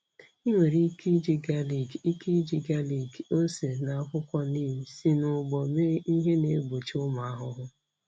Ị nwere ike iji galik, ike iji galik, ose, na akwụkwọ neem si n'ugbo mee ihe na-egbochi ụmụ ahụhụ.